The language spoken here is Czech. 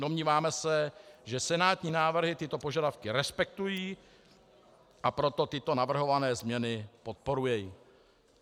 Domníváme se, že senátní návrhy tyto požadavky respektují, a proto tyto navrhované změny podporuji."